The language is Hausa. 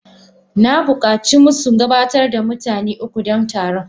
na bukaci masu gabatar da mutane uku don taron.